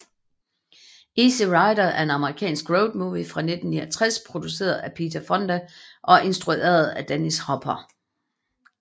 Easy Rider er en amerikansk road movie fra 1969 produceret af Peter Fonda og instrueret af Dennis Hopper